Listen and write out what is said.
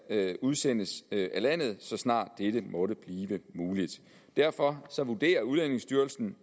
udsendes af landet så snart dette måtte blive muligt derfor vurderer udlændingestyrelsen